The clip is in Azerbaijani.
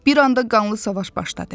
Bir anda qanlı savaş başladı.